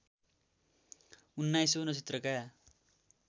उन्नाइसौँ नक्षत्रका